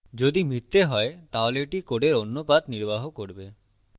যদি মিথ্যা হয় তাহলে এটি code অন্য path নির্বাহ করবে